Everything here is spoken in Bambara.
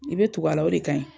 I bɛ tugu ala o de kaɲi.